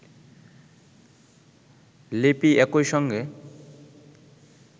লিপি একইসঙ্গে